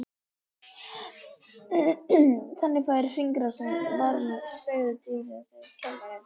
Þannig fær hringrásin varma stöðugt dýpra úr kerfinu.